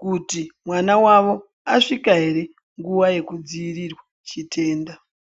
kuti mwana wavo asvika here nguva yekudzivirirwa chitenda.